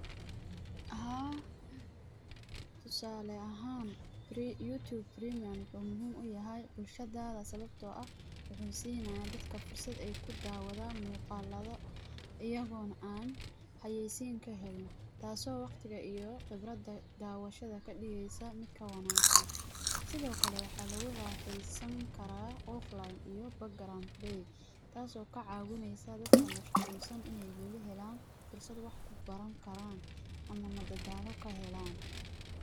Haa tusaale ahaan wuxuu muhiim uyahay bulshada sababta oo ah wuxuu siinaya dadkaa fursad aay ku dawdaan ama wax yaabaha xiisaha leh waxaa muhiim utahay sababta oo lagu soo bandige xog aruurin cilmiya casri ah.